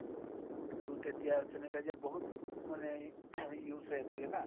টো তেতিয়া sanitizer বহুত মানে use হৈ আছিলে না ?